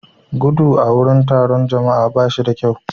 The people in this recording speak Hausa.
gudu a wurin taron jama'a ba shi da kyau